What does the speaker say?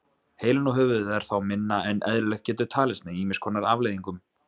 Heilinn og höfuðið er þá minna en eðlilegt getur talist með ýmis konar afleiðingum.